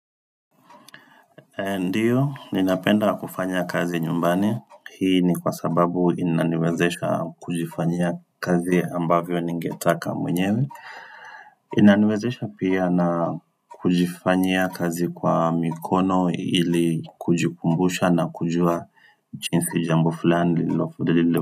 Ndio, ninapenda kufanya kazi nyumbani, hii ni kwa sababu inaniwezesha kujifanyia kazi ambavyo ningetaka mwenyewe inaniwezesha pia na kujifanyia kazi kwa mikono ili kujikumbusha na kujua jinsi jambo fulani.